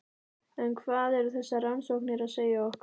En hvað eru þessar rannsóknir að segja okkur?